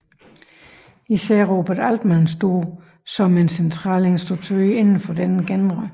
Især Robert Altman står som en central instruktør inden for denne genre